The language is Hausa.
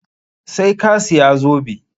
Sai ka siya zobe!